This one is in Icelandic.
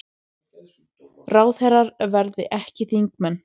Ráðherrar verði ekki þingmenn